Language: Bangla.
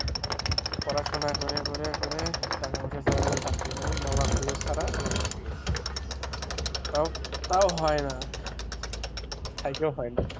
পড়াশোনা করে করে করে টাকা পয়সা ছাড়া কোনো চাকরি নাই, মামা খালু ছাড়া চাকরি তাও তাও হয় না,